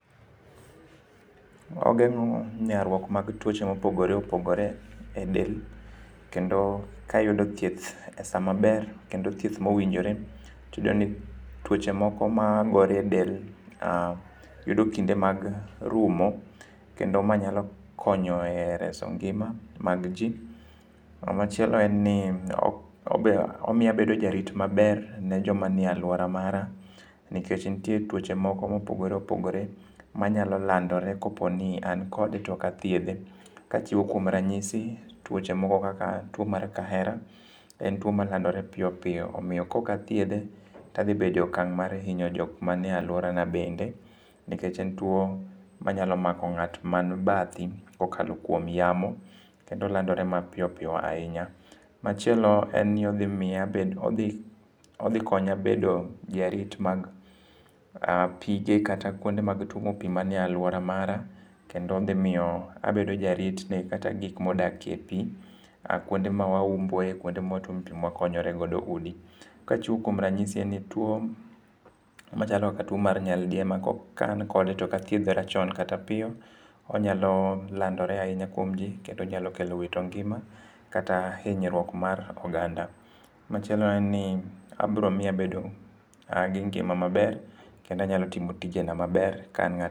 Ogengo nyaruok mag tuoche mopogore opogore e del kendo ka ayudo thieth e saa maber kendo thieth mowinjore tiyudo ni tuoche moko magore e del yudo kinde mag rumo kendo ma nyalo konyo e reso ngima mag jii. Machielo en ni omiyo abedo jarit maber ne joma nie aluora mara nikech nitie tuoche moko mopogore opogore manyalo landore kaponi an kode to ok athiedhe. Kachiwo kuom ranyisi tuoche moko kaka tuo mar kahera en tuo malandore piyo piyo omiyo kaok athiedhe tadhi bedo e okang' mar hinyo jokma nie aluora na bende nikech en tuo manyalo mako jok man bathi kokalo kuom yamo nikech olandore ma piyo piyo ahinya. Machielo en ni odhi miya abedo, odhi konya bedo jarit mar pige kata kuonde mag tuomo pii manie aluora mara kendo dhi miyo abedo jarit ne kata gik modakie pii, kuonde ma wauombo e,kuonde ma watuome pii ma wakonyore godo e udi. Kachiwo kuom ranyisini en ni tuo machalo kaka tuo mar nyaldiema, kokal kode to ok athiedhora chon kata piyo onyalo landore ahinya kuom jii kendo nyalo kelo wito ngima kata hinyruok mar oganda. Machielo en ni obiro miyo abedo gi ngima maber kendo anyalo timo tijena maber ka an